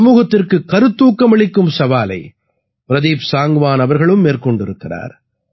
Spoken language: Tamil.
சமூகத்திற்குக் கருத்தூக்கமளிக்கும் சவாலை பிரதீப் சாங்க்வான் அவர்களும் மேற்கொண்டிருக்கிறார்